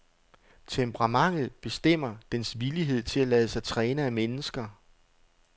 Temperamentet bestemmer dens villighed til at lade sig træne af mennesker.